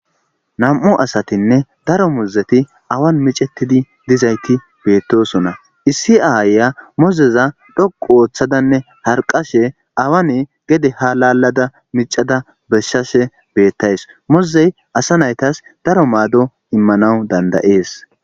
nam7u asatinne daro mozeti awan micettidi dizayti beettosona issi aaaya mozeza dhoqu ooththadanne harqashe awane gede ha lalada micada beshshashe beettays mozey asa naytas daro maado immanawu dandayees